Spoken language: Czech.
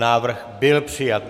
Návrh byl přijat.